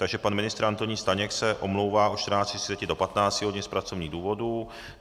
Takže pan ministr Antonín Staněk se omlouvá od 14.30 do 15 hodin z pracovních důvodů.